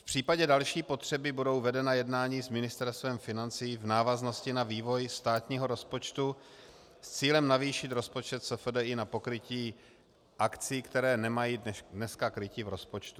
V případě další potřeby budou vedena jednání s Ministerstvem financí v návaznosti na vývoj státního rozpočtu s cílem navýšit rozpočet SFDI na pokrytí akcí, které nemají dneska krytí v rozpočtu.